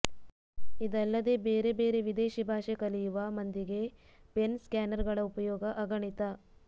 ಇದಲ್ಲದೆ ಬೇರೆ ಬೇರೆ ವಿದೇಶಿ ಭಾಷೆ ಕಲಿಯುವ ಮಂದಿಗೆ ಪೆನ್ ಸ್ಕ್ಯಾನರ್ಗಳ ಉಪಯೋಗ ಅಗಣಿತ